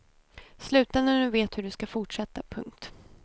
Sluta när du vet hur du skall fortsätta. punkt